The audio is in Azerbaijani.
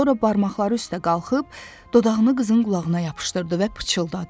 Sonra barmaqları üstdə qalxıb dodağını qızın qulağına yapışdırdı və pıçıldadı.